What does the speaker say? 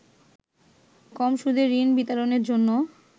কম সুদে ঋণ বিতরণের জন্য